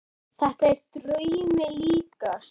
Þetta er draumi líkast.